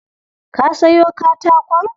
Ka sayo katakon?